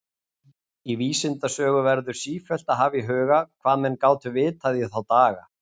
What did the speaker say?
Í vísindasögu verður sífellt að hafa í huga, hvað menn gátu vitað í þá daga.